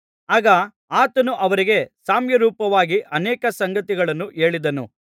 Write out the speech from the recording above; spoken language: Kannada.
ಆಗ ಆತನು ಅವರಿಗೆ ಸಾಮ್ಯರೂಪವಾಗಿ ಅನೇಕ ಸಂಗತಿಗಳನ್ನು ಹೇಳಿದನು